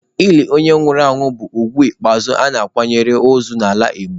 Ili onye nwụrụ anwụ bụ ugwu ikpeazụ a na-akwanyere ozu n'ala Igbo.